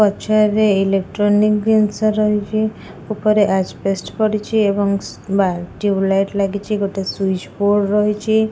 ପଛରେ ଇଲୋକ୍ଟ୍ରୋନିକ ଜିନିଷ ରହିଛି ଉପରେ ଆଜ୍ବେଷ୍ଟେସ ପଡିଛି ଏବଂ ବା ଟିଉବ୍‌ ଲାଇଟ୍‌ ଲାଗିଛି ଗୋଟେ ସୁଇଚ୍‌ ବୋର୍ଡ ରହିଛି ।